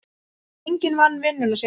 Enginn vann vinnuna sína.